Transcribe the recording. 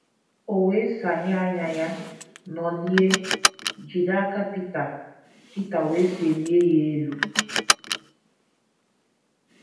O wee saghee anya ya, nọlie, jide aka Pita, Pita wee selie ya elu.